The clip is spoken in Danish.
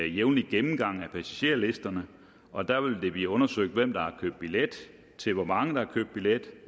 jævnlig gennemgang af passagerlisterne og der vil det blive undersøgt hvem der har købt billet til hvor mange der er købt billet